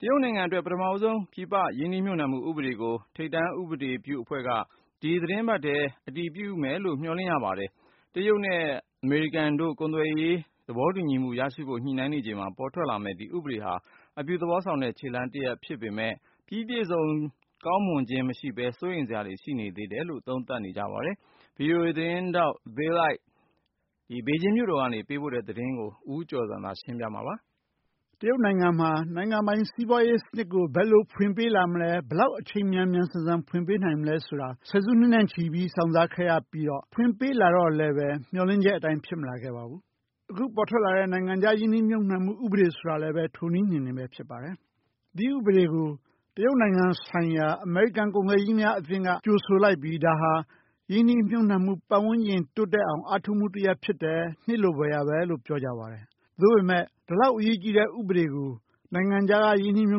တရုတ်နိုင်ငံအတွက် ပထမဦးဆုံး ပြည်ပရင်းနှီးမြှုပ်နှံမှု ဥပဒေကို ထိပ်တန်း ဥပဒေပြုအဖွဲ့က ဒီသီတင်းပတ်အတွင်း အတည်ပြုမယ်လို့ မျှော်လင့်ရပါတယ်။ တရုတ်နဲ့ အမေရိကန်တို့ ကုန်သွယ်ရေးသဘောတူညီမှု ရရှိဖို့ ညှိနှိုင်းနေချိန် ပေါ်ထွက်လာမယ့် ဒီဥပဒေဟာ အပြုသဘော ဆောင်တဲ့ ခြေလှမ်းတရပ်ဖြစ်ပေမယ့် ပြီးပြည့်စုံ ကောင်းမွန်ခြင်း မရှိပဲ စိုးရိမ်စရာတွေလည်း ရှိနေတယ်လို့ သုံးသပ်သူတွေက ဆိုနေကြပါတယ်။ VOA သတင်းထောက် Bill Ide ဘေဂျင်းမြို့တော်က ပေးပို့တဲ့သတင်းကို ဦးကျော်ဇံသာ ပြောပြမှာပါ။ တရုတ်နိုင်ငံမှာ နိုင်ငံပိုင်စီးပွားရေးစနစ်ကို ဘယ်လိုဖွင့်ပေးလာမလဲ ၊ ဘယ်လောက် အချိန်မြန်မြန်ဆန်ဆန်ဖွင့်ပေးလာမလဲဆိုတာ ၁၀ စုနှစ်နဲ့ချီပြီး စောင့်စားခဲ့ရပြီးတော့ ဖွင့်ပေးလာတော့လည်း မျှော်လင့်ချက်အတိုင်း ဖြစ်မလာခဲ့ပါဘူး။ အခုပေါ်ထွက်လာတဲ့ နိုင်ငံခြားရင်းနှီးမြှုပ်နှံမှု ဥပဒေဆိုတာလည်း ထိုနည်းအတိုင်းဖြစ်ပါတယ်။ ဒီဥပဒေကို တရုတ်နိုင်ငံဆိုင်ရာ အမေရိကန် ကုန်သည်ကြီးများအသင်းက ကြိုဆိုလိုက်ပြီး ဒါဟာ ရင်းနှီးမြှုပ်နှံမှု ပတ်ဝန်းကျင်တိုးတက်အောင် အားထုတ်မှုတရပ်ဖြစ်တယ် နှစ်လိုဖွယ်ရာပဲလို့ ပြောကြပါတယ်။ သို့ပေမယ့် ဒီလောက်အရေးကြီးတဲ့ ဥပဒေကို နိုင်ငံခြားရင်းနှီးမြှု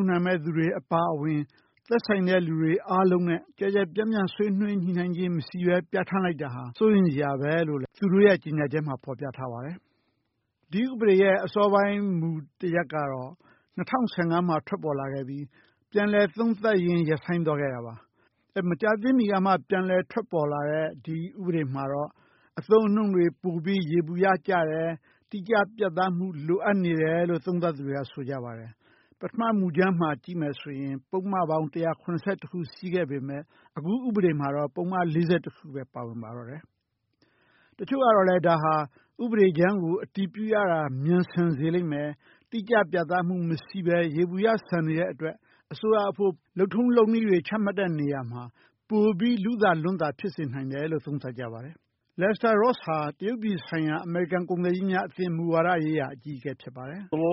ပ်နှံမယ့်သူတွေ အပါအဝင် သက်ဆိုင်တဲ့ လူတွေအားလုံးနဲ့ ကျယ်ကျယ်ပြန့်ပြန့် ဆွေးနွေးညှိနှိုင်းခြင်းမရှိပဲ ပြဌာန်းလိုက်တာဟာ စိုးရိမ်စရာပဲလို့ သူတို့ရဲ ပြဌာန်းချက်မှာ ဖော်ပြထားပါတယ်။ ဒီဥပဒေရဲ့ အစောပိုင်း မူတရပ်ကတော့ ၂၀၁၅ မှာ ထွက်ပေါ်လာခဲ့ပြီး ပြန်လည်သုံးသပ်ရင်း ရပ်ဆိုင်းသွားခဲ့တာပါ။ မကြာသေးမီကမှ ထွက်ပေါ်လာတဲ့ ဒီ ဥပဒေမှာတော့ အသုံးအနှုန်းတွေပိုပြီး ယေဘုယျကျတယ်၊ တိကျ ပြတ်သားမှု လိုအပ်နေတယ် လို့ သုံးသပ်သူတွေဆိုပါတယ်။ ပထမ မူကြမ်းမှာ ကြည့်မယ်ဆိုရင် ပုဒ်မပေါင်း ၁၇၁ ခု ရှိခဲ့ပေမယ့် အခုဥပဒေမှာတော့ ပုဒ်မ ၄၁ ခုပဲ ပါဝင်ပါတော့တယ်။ တချို့ကလည်း ဒါဟာ ဥပဒေကြမ်းကို အတည်ပြုရတာ မြန်ဆန်စေလိမ့်မယ် ၊ တိကျပြတ်သားမှုမရှိပဲ ယေဘုယျဆန်နေလိမ့်မယ် အစိုးရအဖို့ လုပ်ထုံးလုပ်နည်းတွေ ချမှတ်တဲ့နေရာမှာ ပိုပြီး ဖြစ်စေနိုင်တယ်လို့ သုံးသပ်ပါတယ်။ Lester Ross ဟာ တရုတ်ပြည်ဆိုင်ရာ အမေရိကန်ကုန်သည်ကြီးများအသင်း မူဝါဒရေးရာအကြီးအကဲ ဖြစ်ပါတယ်။ "အင်မတန် ယေဘုယျကျတဲ့ပြ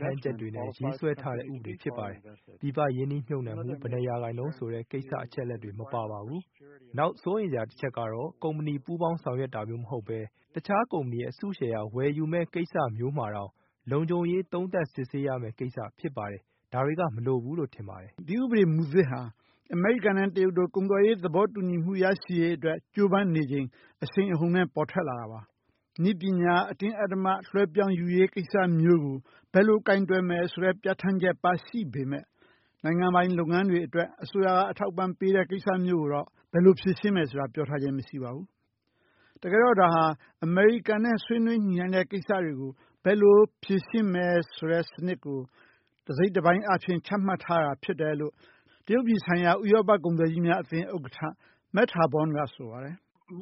ဌာန်းချက်တွေနဲ့ ရေးဆွဲထားတဲ့ ဥပဒေဖြစ်ပါတယ်။ ပြည်ပရင်းနှီးမြှုပ်နှံမှု ဘယ်နှစ်ရာခိုင်နှုန်းဆိုတဲ့ အချက်အလက်တွေ မပါပါဘူး။ နောက်စိုးရိမ်စရာအချက်ကတော့ ကုမ္ပဏီ ပူးပေါင်းဆောင်ရွက်တာမျိုးမဟုတ်ပဲ တခြားကုမ္ပဏီ အစုရှယ်ယာ ဝယ်ယူမယ့်ကိစ္စမျိုးမှာတောင် လုံခြုံရေး သုံးသပ် စစ်ဆေးရမယ့် ကိစ္စဖြစ်ပါတယ်။ ဒါတွေက မလိုဘူးလို့ ထင်ပါတယ်။" ဒီဥပဒေမူသစ်ဟာ အမေရိကန်နဲ့ တရုတ်တို့ ကုန်သွယ်ရေးသဘောတူညီမှုရရှိဖို့အတွက် ကြိုးပမ်းနေချိန်အရှိန်အဟုန်နဲ့ ပေါ်ထွက်လာတာပါ။ နည်းပညာ အတင်းအဓမ္မ လွှဲပြောင်းယူရေးကိစ္စမျိုးကို ဘယ်လိုကိုင်တွယ်မယ်ဆိုတဲ့ ပြဌာန်းချက် ပါရှိပေမယ့် နိုင်ငံပိုင် လုပ်ငန်းတွေအတွက် အစိုးရက အထောက်အပံ့ပေးတဲ့ ကိစ္စမျိုးကိုတော့ ဘယ်လိုဖြေရှင်းမယ်ဆိုတာ ပြောထားခြင်းမရှိပါဘူး။ တကယ်တော့ ဒါဟာ အမေရိကန်နဲ့ ဆွေးနွေးညှိနှိုင်းတဲ့ ကိစ္စတွေကို ဘယ်လိုဖြေရှင်းမယ်ဆိုတဲ့ စနစ်ကို တစိတ်တပိုင်းအားဖြင့်ချမှတ်ထားတာဖြစ်တယ်လို့ တရုတ်ပြည်ဆိုင်ရာ ဥရောပကုန်သည်ကြီးများအသင်း ဥက္ကဋ္ဌ Mats Harborn ကဆိုပါတယ်။ "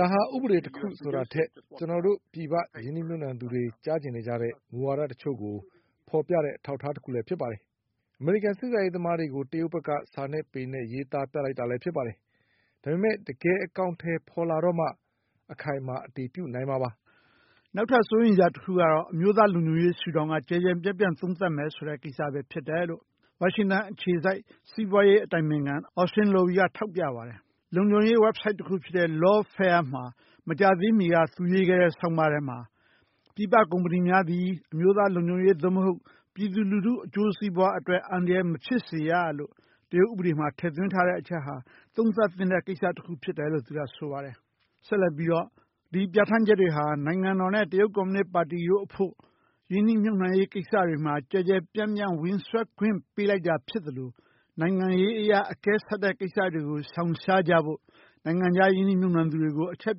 ဒါဟာ ဥပဒေတခုဆိုတာထက် ကျနော်တို့ ပြည်ပရင်းနှီးမြှုပ်နှံသူတွေ ကြားချင်နေကြတဲ့ မှုဝါဒတချို့ကို ဖော်ပြတဲ့အထောက်အထားလည်းဖြစ်ပါတယ်။ အမေရိကန် ဆက်ဆံရေးသမားတွေကို တရုတ်ဘက်က စာနဲ့ ပေနဲ့ ရေးသားပြလိုက်တာလည်း ဖြစ်ပါတယ်။ ဒါပေမယ့် တကယ့်အကောင်အထည်ဖော်လာတော့မှ အခိုင်အမာအတည်ပြုနိုင်မှာပါ။" နောက်ထပ်စိုးရိမ်စရာတခုကတော့ အမျိုးသားလုံခြုံရေးရှု့ထောင့်က ကျယ်ကျယ်ပြန့်ပြန့်သုံးသပ်မယ်ဆိုတဲ့ ကိစ္စပဲဖြစ်တယ်လို့ ဝါရှင်တန်အခြေစိုက် စီးပွားရေးအတိုင်ပင်ခံ Austin Lowe ကထောက်ပြပါတယ်။ လုံခြုံရေး ဝဘ်ဆိုက်တခုဖြစ်တဲ့ Lawfare မှာ မကြာသေးမီက သူရေးခဲ့တဲ့ ဆောင်းပါးထဲမှာ ပြည်ပ ကုမ္ပဏီများသည် အမျိုးသားလုံခြုံရေး သို့မဟုတ် ပြည်သူလူထု အကျိုးစီးပွားအတွက် အန္တရာယ်မဖြစ်စေရလို့ တရုတ်ဥပဒေမှာ ထည့်သွင်းထားတဲ့ အချက်ဟာ သုံးသပ်သင့်တဲ့ ကိစ္စတခုဖြစ်တယ်လို့ သူကဆိုပါတယ်။ ဆက်လက်ပြီးတော့ ဒီပြဌာန်းချက်တွေဟာ နိုင်ငံတော်နဲ့ တရုတ်ကွန်မြူနစ်ပါတီတို့ အတွက် ရင်းနှီးမြှုပ်နှံရေးကိစ္စတွေမှာ ကျယ်ကျယ်ပြန့်ပြန့် ဝင်စွက်ခွင့်ပေးလိုက်တာ ဖြစ်သလို နိုင်ငံရေးအရ အကဲဆက်တဲ့ ကိစ္စတွေကို ရှောင်ရှားကြဖို့ ပြည်ပရင်းနှီးမြှုပ်နှံ သူတွေကို အချက်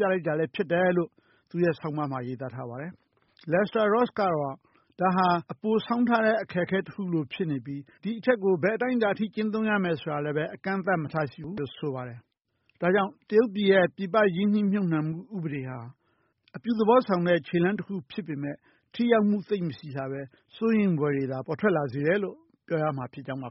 ပြလိုက်တာလည်း ဖြစ်တယ်လို့ သူ့ဆောင်းပါးမှာ ရေးသား ထားပါတယ်။ Lester Ross ကတော့ ဒါဟာ အပိုဆောင်းထားတဲ့ အခက်အခဲတခုလိုဖြစ်နေပြီး ဒီအချက်ကို ဘယ်အတိုင်းအတာအထိ ကျင့်သုံးရမယ် ဆိုတာလည်း အကန့်အသတ်မထားရှိဘူးလို့ ဆိုပါတယ်။ ဒါကြောင့် တရုတ်ပြည်ရဲ့ ပြည်ပ ရင်းနှီးမြှုပ်နှံမှု ဥပဒေဟာ အပြုသဘောဆောင်တဲ့ ခြေလှမ်းတခုဖြစ်ပေမယ့် ထိရောက်မှု သိပ်မရှိပဲ စိုးရိမ်ဖွယ်တွေသာ ပေါ်ထွက်လာစေတယ်လို့ ပြောရမှာဖြစ်ကြောင်းပါ